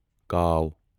کاو